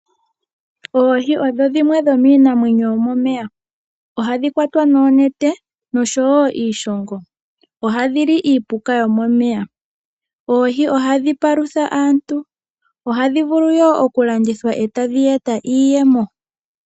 Oohi odho dhimwe dhomiinamwenyo yomomeya. Ohadhi kwatwa noonete, noshowo iishongo. Ohadhi li iipuka yomomeya. Oohi ohadhi palutha aantu, dho ohadhi vulu wo okulandithwa e tadhi eta iiyemo.